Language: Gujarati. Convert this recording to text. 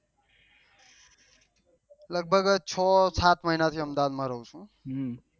લગભગ છો સાત મહિના થી અમદાવાદ માં રહું છું